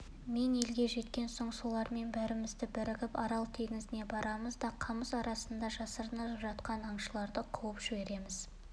мен елге жеткен соң солармен бәріміз бірігіп арал теңізіне барамыз да қамыс арасында жасырынып жатқан аңшыларды қуып жібереміз